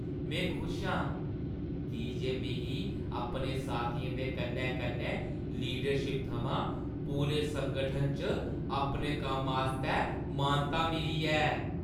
में खुश आं की जे मिगी अपने साथियें दे कन्नै-कन्नै लीडरशिप थमां पूरे संगठन च अपने कम्मै आस्तै मानता मिली ऐ।